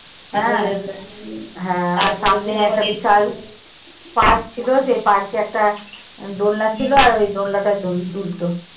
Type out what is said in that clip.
হ্যাঁ সামনে একটা বিশাল park ছিল সেই park এ একটা দোলনা ছিল আর ওই দোলনাটায় দুল~ দুলতো।